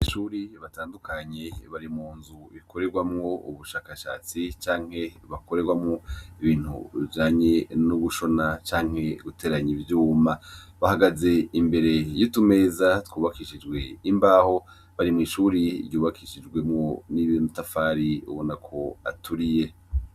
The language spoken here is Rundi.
Abanyeshuri batandukanye bari mu nzu ikorerwamwo ubushakashatsi canke ikorerwamwo ibintu bijanye no gushona canke guteranya ivyuma, bahagaze imbere y'utumeza twubakishijwe imbaho, bari mw'ishuri ryubakishijwemwo n'amatafari ubona ko aturiye.